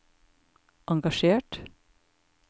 engasjert